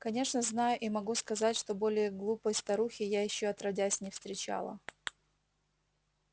конечно знаю и могу сказать что более глупой старухи я ещё отродясь не встречала